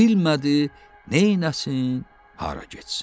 Bilmədi, neyləsin, hara getsin.